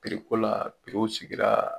Piriko la piriw sigira.